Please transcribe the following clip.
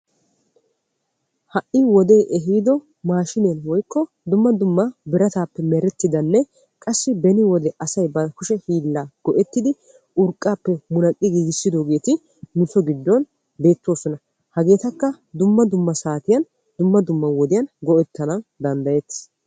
Ha'i wode ehiido dumma dumma birattappe merettidda maashshinne beetees. Hageetta qassi dumma dummabawu go'ettanna danddayetees.